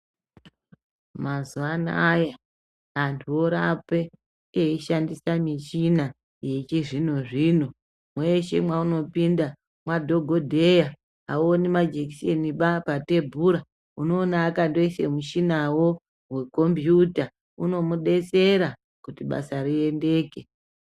Mazuva anaya vantu vorape veishandisa michina yechizvino-zvino, mweshe mweunopinda madhogodheya hauoniba majekiseni patebura, unoona akandoise mushinawo wekombiyuta. Unomudetsera kuti basa rireruke.